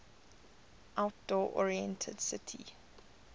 outdoor oriented city